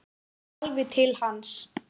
Kemur alveg til hans.